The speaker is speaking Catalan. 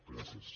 gràcies